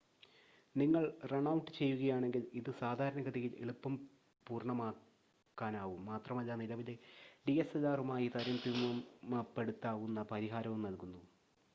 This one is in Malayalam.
നിങ്ങൾ റൺ ഔട്ട് ചെയ്യുകയാണെങ്കിൽ ഇത് സാധാരണഗതിയിൽ എളുപ്പം പൂർണ്ണമാക്കാനാകും മാത്രമല്ല നിലവിലെ ഡിഎസ്എൽആറുമായി താരതമ്യപ്പെടുത്താവുന്ന പരിഹാരവും നൽകുന്നു